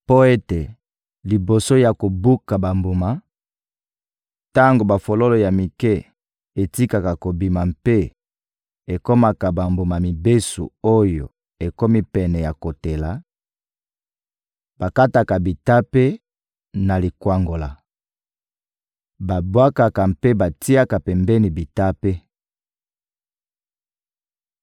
Mpo ete liboso ya kobuka bambuma, tango bafololo ya mike etikaka kobima mpe ekomaka bambuma mibesu oyo ekomi pene ya kotela, bakataka bitape na likwangola, babwakaka mpe batiaka pembeni bitape.